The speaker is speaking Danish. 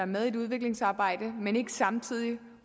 med i et udviklingsarbejde men ikke samtidig